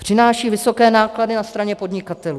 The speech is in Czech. Přináší vysoké náklady na straně podnikatelů.